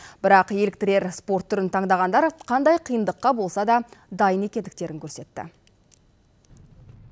бірақ еліктірер спорт түрін таңдағандар қандай қиындыққа болса да дайын екендіктерін көрсетті